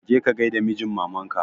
Je ka gai da mijin maman ka!